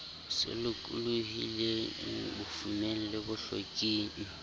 se lokolohileng bofumeng le bohloking